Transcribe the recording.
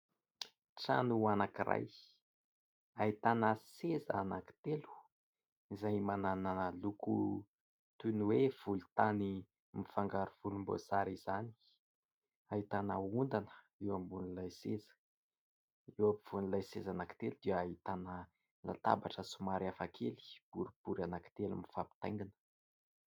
Trano anakiray, ahitana seza anakitelo izay manana loko toy ny hoe volon-tany mifangaro volom-boasary izany ahitana ondana eo ambonin'ilay seza, eo ampovoan'ilay seza anakitelo dia ahitana latabatra somary hafakely boribory anakitelo mifampintaingina.